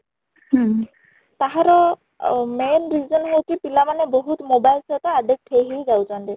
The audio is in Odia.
ତାହାର ଅ main reason ହେଉଛି ପିଲା ମାନେ ବହୁତ mobile ସହିତ addict ହେଇ ହେଇ ଯାଉଛନ୍ତି